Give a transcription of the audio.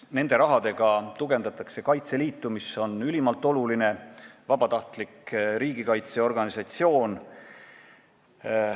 Nende summadega tugevdatakse Kaitseliitu, mis on ülimalt oluline, vabatahtlik riigikaitseorganisatsioon.